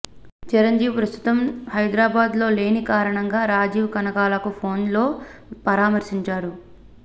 చిరంజీవి ప్రస్తుతం హైదరాబాద్ లో లేని కారణంగా రాజీవ్ కనకాలను ఫోన్ లో పరామర్శించారు